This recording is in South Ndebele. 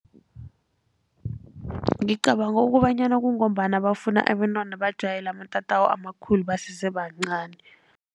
Ngicabanga kobanyana kungombana bafuna abentwana bajayele amatatawu amakhulu basese bancani.